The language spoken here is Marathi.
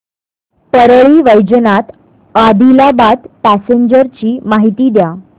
परळी वैजनाथ आदिलाबाद पॅसेंजर ची माहिती द्या